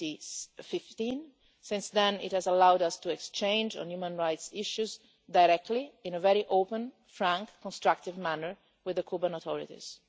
2015. Since then, it has allowed us to exchange on human rights issues directly, in a very open, frank, constructive manner with the Cuban authorities.